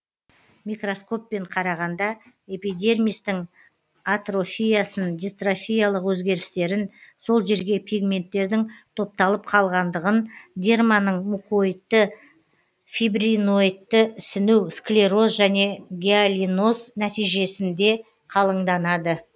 микроскоппен қарағанда эпидермистің атрофиясын дистрофиялық өзгерістерін сол жерге пигменттердің топталып қалғандығын дерманың мукоидты фибриноидты ісіну склероз және гиалиноз нәтижесінде қалыңданады